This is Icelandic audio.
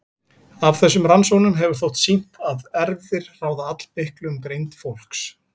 Af þessum rannsóknum hefur þótt sýnt að erfðir ráða allmiklu um greind fólks.